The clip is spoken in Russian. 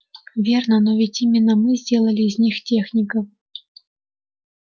верно но ведь именно мы сделали из них техников